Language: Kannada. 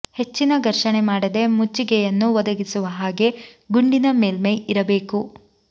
ಹೆಚ್ಚಿನ ಘರ್ಷಣೆ ಮಾಡದೆ ಮುಚ್ಚಿಗೆಯನ್ನು ಒದಗಿಸುವ ಹಾಗೆ ಗುಂಡಿನ ಮೇಲ್ಮೈ ಇರಬೇಕು